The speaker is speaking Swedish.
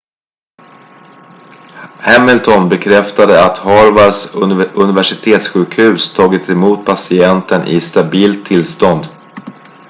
hamilton bekräftade att harvards universitetssjukhus tagit emot patienten i stabilt tillstånd